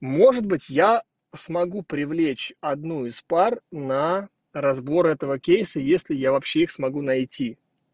может быть я смогу привлечь одну из пар на разбор этого кейса если я вообще их смогу найти